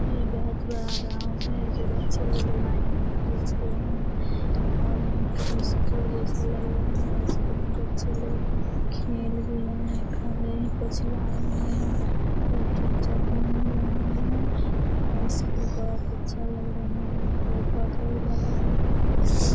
ये बहुत बडा ग्राउंड है जो बच्चे लोग लाइन में खड़े हुए हैं और यहाँ पे स्कूल जैसा लग रहा है स्कूल में बच्चे लोग खेल रहें हैं खाने कुछ लाए हुए हैं कोई टीचर घूम रहा है और इसके बाद अच्छा लग रहा है पेड़-पौधा भी लगा है।